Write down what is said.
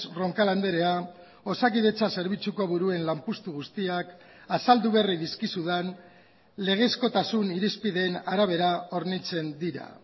roncal andrea osakidetza zerbitzuko buruen lanpostu guztiak azaldu berri dizkizudan legezkotasun irizpideen arabera hornitzen dira